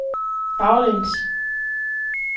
baglæns